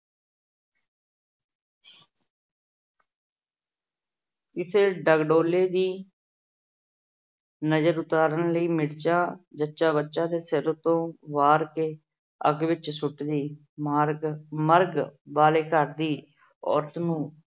ਕਿਸੇ ਡਗਡੋਲੇ ਦੀ ਨਜਰ ਉਤਾਰਨ ਲਈ ਮਿਰਚਾਂ ਜੱਚਾ ਬੱਚਾ ਦੇ ਸਿਰ ਉਪਰੋਂ ਵਾਰ ਕੇ ਅੱਗ ਵਿੱਚ ਸੁੱਟਦੀ। ਮਾਰਗ ਅਹ ਮਰਗ ਵਾਲੇ ਘਰ ਦੀ ਔਰਤ ਨੂੰ